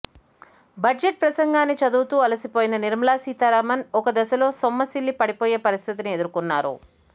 budget ప్రసంగాన్ని చదువుతూ అలిసిపోయిన నిర్మలా సీతారామన్ ఒక దశలో సొమ్మసిల్లి పడిపోయే పరిస్థితిను ఎదుర్కొన్నారు